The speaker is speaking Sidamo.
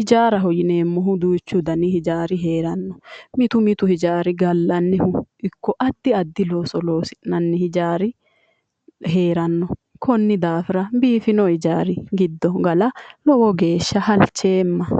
Hijaaraho yineemmohu duuchu dani hijaari heeranno. Mitu mitu hijaari gallannihu ikko addi addi looso loosi'nanni hijaari heeranno. Konni daafira biifino hijaari giddo gala lowo geeshsha halcheemma.